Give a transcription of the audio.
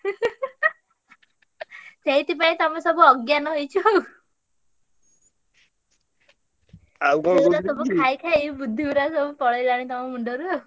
augh ସେଇଥିପାଇଁ ତମେ ସବୁ ଅଜ୍ଞାନ ହେଇଛ ଆଉ। ସେଇଗୁଡା ସବୁ ଖାଇ ଖାଇ ବୁଦ୍ଧି ଗୁଡାକ ସବୁ ପଳେଇଲାଣି ତମ ମୁଣ୍ଡରୁ ଆଉ।